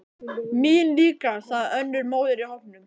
Mín líka, sagði önnur móðir í hópnum.